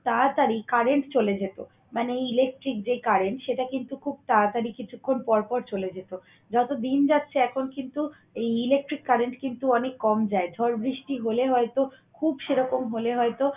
তাড়াতাড়ি current চলে যেত। মানে electric যে current সেটা কিন্তু খুব তাড়াতাড়ি কিছুক্ষণ পরপর চলে যেত। যত দিন যাচ্ছে এখন কিন্তু এই electric current কিন্তু অনেক কম যায়। ঝড় বৃষ্টি হলে হয়তো খুব সেরকম হলে হয়তো